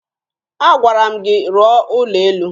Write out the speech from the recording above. Agwara m gị rụọ ụlọ elu!